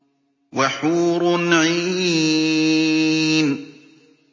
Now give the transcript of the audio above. وَحُورٌ عِينٌ